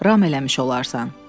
Ram eləmiş olarsan.